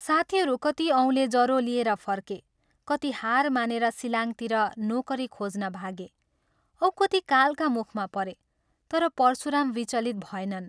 साथीहरू कति औले जरो लिएर फर्के, कति हार मानेर शिलाङ्गतिर नोकरी खोज्न भागे औ कति कालका मुखमा परे तर परशुराम विचलित भएनन्।